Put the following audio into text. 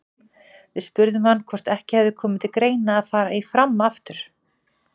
Við spurðum hann hvort ekki hefði komið til greina að fara í Fram aftur?